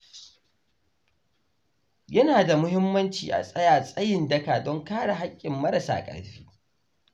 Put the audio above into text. Yana da muhimmanci a tsaya tsayin daka don kare haƙƙin marasa ƙarfi.